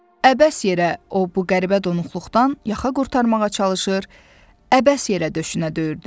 Əbəs yerə o bu qəribə donuqluqdan yaxa qurtarmağa çalışır, əbəs yerə döşünə döyürdü.